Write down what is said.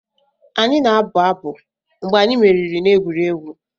Anyị na-abụ abụ mgbe anyị meriri n'egwuregwu.